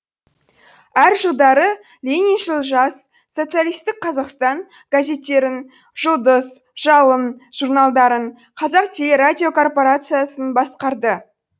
әр жылдары лениншіл жас социалистік қазақстан газеттерін жұлдыз жалын журналдарын қазақтелерадикорпорациясын басқарды